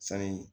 Sani